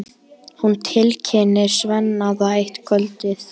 Hún tilkynnir Svenna það eitt kvöldið.